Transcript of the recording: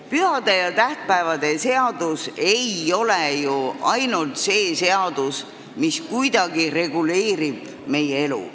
Pühade ja tähtpäevade seadus ei ole ju ainult selline seadus, mis reguleerib meie elu.